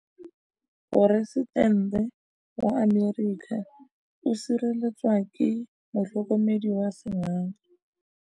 Poresitêntê wa Amerika o sireletswa ke motlhokomedi wa sengaga.